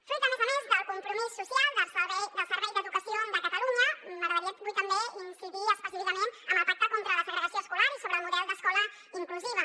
fruit a més a més del compromís social del servei d’educació de catalunya m’agradaria avui també incidir específicament en el pacte contra la segregació escolar i sobre el model d’escola inclusiva